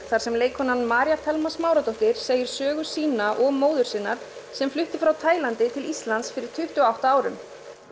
þar sem leikkonan María Thelma Smáradóttir segir sögu sína og móður sinnar sem flutti frá Tælandi til Íslands fyrir tuttugu og átta árum